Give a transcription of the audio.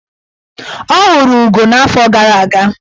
Ọ hụrụ ugo n'afọ gara aga.